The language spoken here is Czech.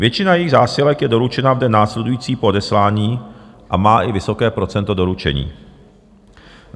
Většina jejích zásilek je doručena v den následující po odeslání a má i vysoké procento doručení.